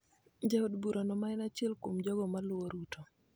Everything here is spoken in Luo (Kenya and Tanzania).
Jaod burano, ma en achiel kuom jogo ma luwo Ruto,